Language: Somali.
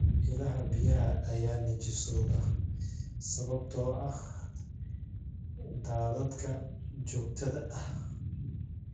Ilaha biyaha ayaa nijaasooba sababtoo ah daadadka joogtada ah.